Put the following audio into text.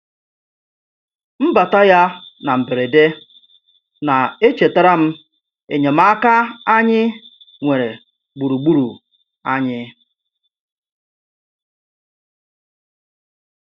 Mbata ya na mberede na-echetara m enyemaaka anyị nwere gburugburu anyị.